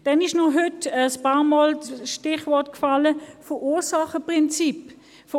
Dann wurde heute ein paarmal das Verursacherprinzip erwähnt.